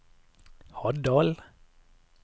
Haddal